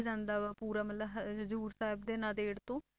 ਜਾਂਦਾ ਵਾ ਪੂਰਾ ਮਤਲਬ ਹ~ ਹਜ਼ੂਰ ਸਾਹਿਬ ਤੇ ਨੰਦੇੜ ਤੋਂ